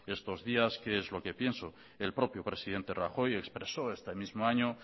estos días qué es lo que pienso el propio presidente rajoy expresó este mismo año